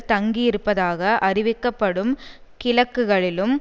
தங்கியிருப்பதாக அறிவிக்கப்படும் கிழக்குகளிலும்